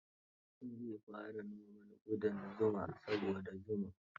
Zai fara noman ƙudan zuma saboda zuma.